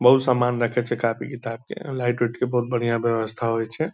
बहुत सामान रखे छे। कॉपी किताब के लाइट उइट के बहुत बढ़िया वयवस्था होय छे।